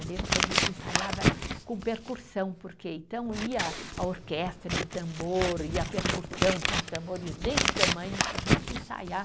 Eu lembro que a gente ensaiava com percussão porque, então ia a orquestra, ia o tambor, e a percussão, tinha uns tambores desse tamanho para a gente ensaiar.